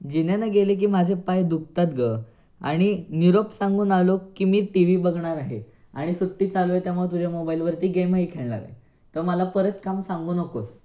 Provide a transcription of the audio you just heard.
जिन्यान गेले की माझे पाय दुखतात ग आणि निरोप सांगून आलो की मी टीव्ही बघणार आहे आणि सुट्टी चालू आहे त्यामुळे तुझ्या मोबाईलवरती गेमही खेळणार आहे तर मला परत काम सांगू नकोस.